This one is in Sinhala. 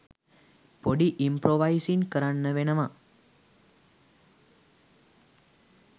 පොඩි ඉම්ප්‍රොවසින් කරන්න වෙනවා